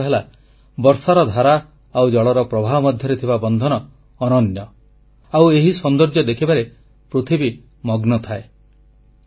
ଯାହାର ଅର୍ଥ ହେଲା ବର୍ଷାର ଧାରା ଆଉ ଜଳର ପ୍ରବାହ ମଧ୍ୟରେ ଥିବା ବନ୍ଧନ ଅନନ୍ୟ ଆଉ ଏହି ସୌନ୍ଦର୍ଯ୍ୟ ଦେଖିବାରେ ପୃଥିବୀ ମଗ୍ନ ଥାଏ